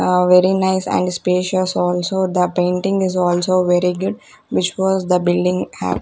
very nice and spacious also the painting is also very good which was the building--